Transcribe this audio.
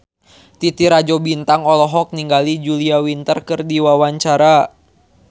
Titi Rajo Bintang olohok ningali Julia Winter keur diwawancara